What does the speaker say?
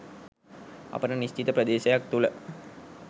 අපිට නිශ්චිත ප්‍රදේශයක් තුළ